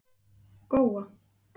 Góa